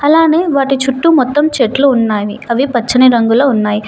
అలానే వాటి చుట్టూ మొత్తం చెట్లు ఉన్నావి అవి పచ్చని రంగులో ఉన్నాయ్.